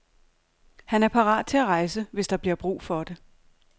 Han er parat til at rejse, hvis der bliver brug for det.